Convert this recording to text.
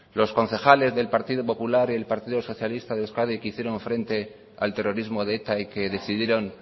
los concejales del partido popular y el partido socialista de euskadi que hicieron frente al terrorismo de eta y que decidieron